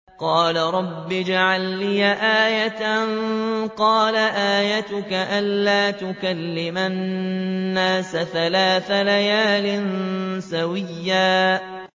قَالَ رَبِّ اجْعَل لِّي آيَةً ۚ قَالَ آيَتُكَ أَلَّا تُكَلِّمَ النَّاسَ ثَلَاثَ لَيَالٍ سَوِيًّا